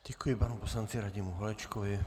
Děkuji panu poslanci Radimu Holečkovi.